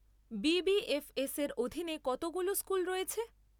B B F এসের অধীনে কতগুলো স্কুল রয়েছে?